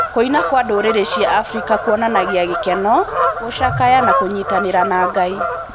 Kũina kwa ndũrĩrĩ cia Afrika kuonanagia gĩkeno, gũcakaya na kũnyitanĩra na Ngai.